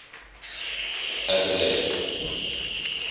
adeleide